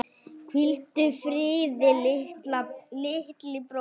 Hvíldu friði, litli bróðir.